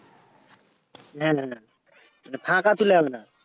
না না না মানে ফাঁকা থুলে হবে না